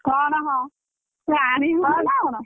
କଣ ହଁ ତୁ ଆଣିବୁନୁନା କଣ?